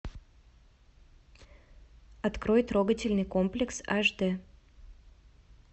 открой трогательный комплекс аш дэ